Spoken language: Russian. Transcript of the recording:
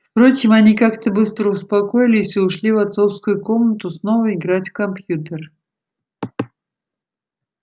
впрочем они как-то быстро успокоились и ушли в отцовскую комнату снова играть в компьютер